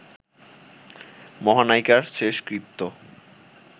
মহানায়িকার শেষকৃত্য